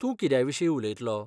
तूं कित्याविशीं उलयतलो?